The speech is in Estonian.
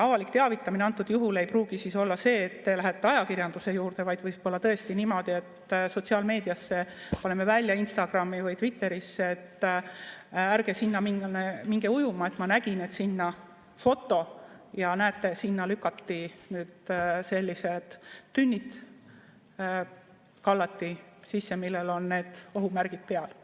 Avalik teavitamine antud juhul ei pruugi olla see, et te lähete ajakirjanduse juurde, vaid võib-olla tõesti niimoodi, et sotsiaalmeediasse paneme välja, Instagrami või Twitterisse foto,, et ärge sinna minge ujuma, ma nägin, et sinna, näete, sellised tünnid kallati sisse, millel on need ohumärgid peal.